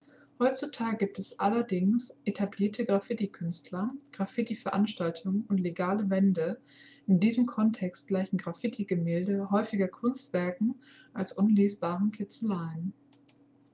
"heutzutage gibt es allerdings etablierte graffiti-künstler graffiti-veranstaltungen und legale" wände. in diesem kontext gleichen graffiti-gemälde häufiger kunstwerken als unlesbaren kritzeleien.